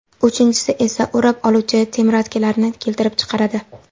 Uchinchisi esa o‘rab oluvchi temiratkilarni keltirib chiqaradi.